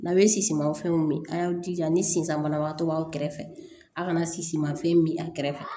N'a bɛ sisimafɛnw min an y'aw jija ni sisan banabagatɔ b'aw kɛrɛfɛ a kana sisimafɛn min a kɛrɛfɛ